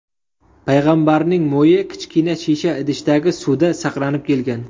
Payg‘ambarning mo‘yi kichkina shisha idishdagi suvda saqlanib kelgan.